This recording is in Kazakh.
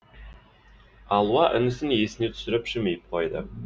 алуа інісін есіне түсіріп жымиып қойды